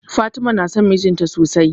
Fatima na son mijinta sosai.